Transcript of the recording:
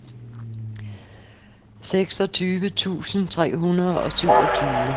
seksogtyve tusind tre hundrede og syvogtyve